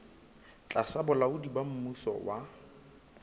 tlasa bolaodi ba mmuso wa